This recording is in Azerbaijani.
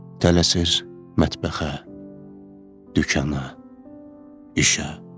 Tələsir, mətbəxə, dükanə, işə.